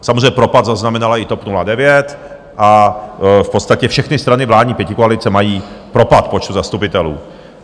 Samozřejmě propad zaznamenala i TOP 09 a v podstatě všechny strany vládní pětikoalice mají propad v počtu zastupitelů.